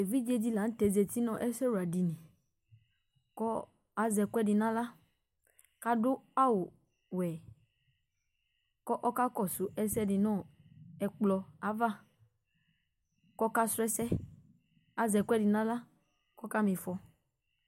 Evidze di la ntɛ zɛti nʋ ɛsɛwa dìní kʋ azɛ ɛkʋɛdi nʋ aɣla kʋ adu awu wɛ kʋ ɔkakɔsu ɛsɛdi nʋ ɛkplɔ ava kʋ ɔkasu ɛsɛ Azɛ ɛkʋɛdi nʋ aɣla ɔka ma ifɔ